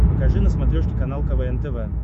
покажи на смотрешке канал квн тв